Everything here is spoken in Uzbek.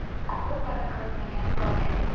Bu taqiqlanmagan faoliyat.